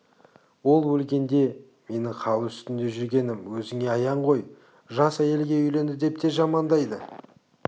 ол өлгенде менің хал үстінде жүргенім өзіңе аян ғой жас әйелге үйленді деп те жамандайды